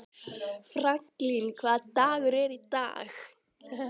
Franklin, hvaða dagur er í dag?